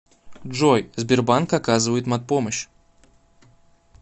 джой сбербанк оказывает мат помощь